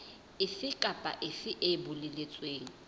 efe kapa efe e boletsweng